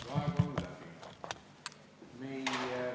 Aeg on läbi.